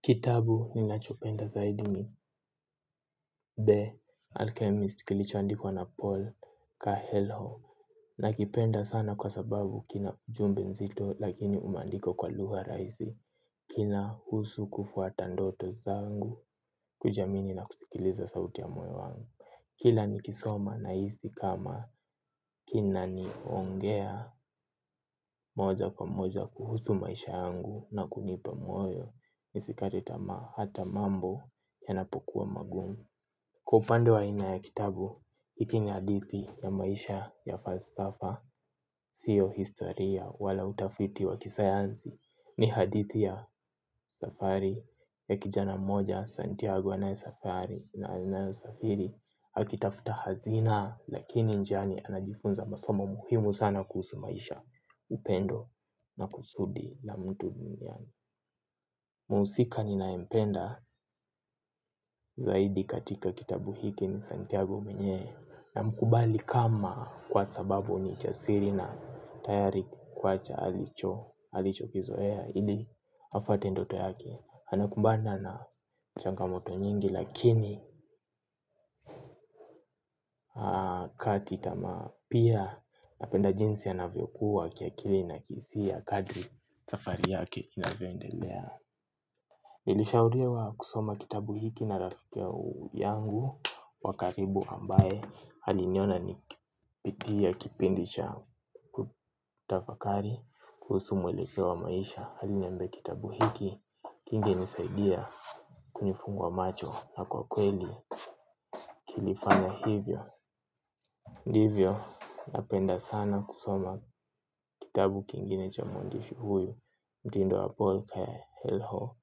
Kitabu ninachopenda zaidi ni The Alchemist kilichoandikwa na Paul coelho. Nakipenda sana kwa sababu kina ujumbe nzito lakini umeandikwa kwa lugha rahisi. Kinahusu kufuata ndoto zangu kujiamini na kusikiliza sauti ya moyo wangu. Kila nikisoma nahisi kama kinaniongea moja kwa moja kuhusu maisha yangu na kunipa moyo. Nisikate tamaa hata mambo yanapokuwa magumu. Kwa upande wa aina ya kitabu hiki ni hadithi ya maisha ya falsafa. Sio historia wala utafiti wa kisayansi. Ni hadithi ya safari ya kijana moja Santiago na safari na alinayo safiri akitafta hazina. Lakini njiani anajifunza masomo muhimu sana kuhusu maisha. Upendo na kusudi la mtu duniani. Mhusika ninayempenda zaidi katika kitabu hiki ni Santiago mwenyewe. Namkubali kama kwa sababu ni chasiri na tayari kukuacha alichokizoea ili afate ndoto yake. Anakumbana na changamoto nyingi lakini hakati tamaa pia napenda jinsi yanavyokuwa kiakili na kihisia kadri safari yake inavyoendelea. Nilishauriwa kusoma kitabu hiki na rafiki yangu wa karibu ambaye aliniona nikipitia kipindi cha kutafakari kuhusu mwelekeo wa maisha aliniambai kitabu hiki kingenisaidia kunifungua macho na kwa kweli kilifanya hivyo. Ndivyo napenda sana kusoma kitabu kingine cha mwandishi huyu. Mtindo wa paul coelho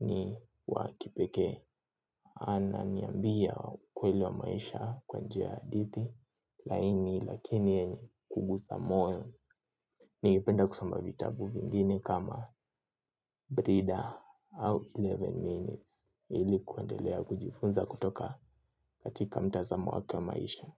ni wa kipekee. Ananiambia ukweli wa maisha kwa njia ya hadithi laini lakini yenye kugusa moyo. Ningependa kusoma vitabu vingine kama Brida au kumi na moja minutes. Ili kuendelea kujifunza kutoka katika mtazamo wake wa maisha.